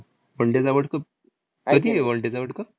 One day चा world cup? कधी आहे one day चा world cup?